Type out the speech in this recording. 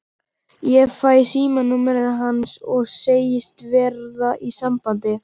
Ég fæ símanúmerið hans og segist verða í sambandi.